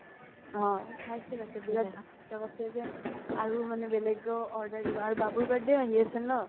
অ পাইছে পাইছে বিৰাত ভাল কৈছে যে আৰু মানে বেলেগো order দিব আৰু বাবুৰ birthday ও আহি আছে ন ?